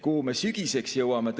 Kuhu me sügiseks jõuame?